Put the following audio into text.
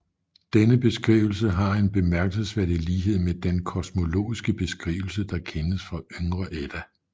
Denne beskrivelse har en bemærkelsesværdig lighed med den kosmologiske beskrivelse der kendes fra Yngre Edda